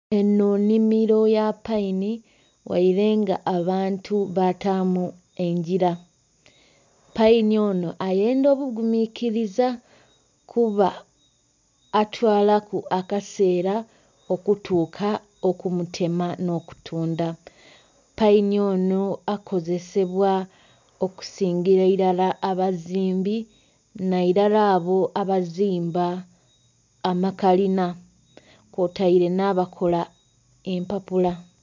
Enho nnhimiro ya paini ghaire nga abantu bataamu engira. Paini ono ayendha obuguminkiriza kuba atwalaku akaseera okutuuka okumutema n'okutunda. Paini ono akozesebwa okusingira irala abazimbi nairala abo abazimba amakalina kwotaire n'abakola empapula.